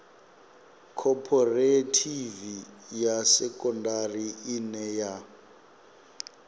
khophorethivi ya sekondari ine ya